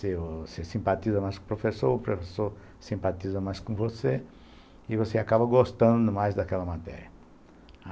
Você simpatiza mais com o professor, o professor simpatiza mais com você, e você acaba gostando mais daquela matéria.